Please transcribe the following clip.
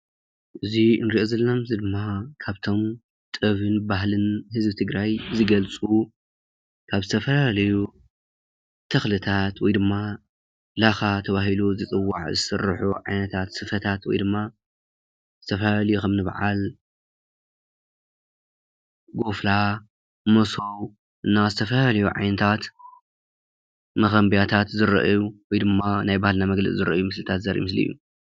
እዚ ንሪኦ ዘለና ምስሊ ድማ ካብቶም ጥበብን ባህልን ህዝቢ ትግራይ ዝገልፁ ካብ ዝተፈላለዩ ተኽልታት ወይ ድማ ላኻ ተባሂሉ ዝፅዋዕ ዝስርሑ ዓይነታት ስፈታት ወይ ድማ ዝተፈላለዩ ከምኒ በዓል ጎፍላ፣ መሶብ ና ዝተፈላለዩ ዓይነታት ስፈታት መኾምቢያታት ዝረአዩ ናይ ባህልና መግለፂ ዘርእየሉ ምስሊ እዩ፡፡